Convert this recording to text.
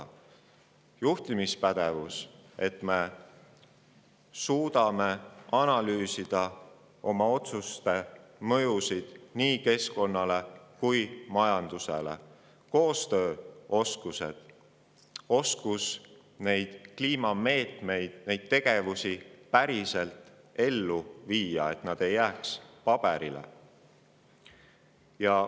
Ja juhtimispädevus, et me suudaks analüüsida oma otsuste mõjusid nii keskkonnale kui ka majandusele, ja koostööoskused ning oskus kliimameetmeid päriselt ellu viia, et plaanid ei jääks ainult paberile.